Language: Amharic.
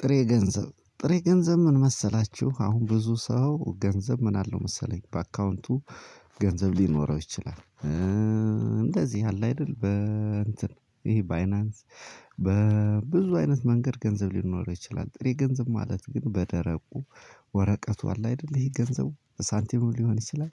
ጥሬ ገንዘብ ጥሬ ገንዘብ ምን መሰላችሁ አሁን ብዙ ሰው ገንዘብ ምን አለው መሰለኝ በአካውንቱ ገንዘብ ሊኖረው ይችላል። እንደዚህ አለ አይደል በ እንትን ይሄ ባይናንስ። በ በብዙ አይነት መንገድ ገንዘብ ሊኖረው ይችላል ጥሬ ገንዘብ ማለት ግን በደረቁ ወረቀቱ አለ አይደል ይሄ ገንዘቡ ሳንቲሙ ሊሆን ይችላል።